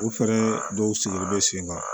U fɛnɛ dɔw sigilen bɛ sen kan